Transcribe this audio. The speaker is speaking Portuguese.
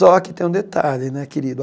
Só que tem um detalhe, né, querido?